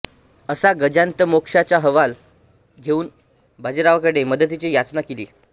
असा गजान्तमोक्षाचा हवाला देऊन बाजीरावाकडे मदतीची याचना केली